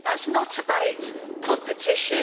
That is not about competition.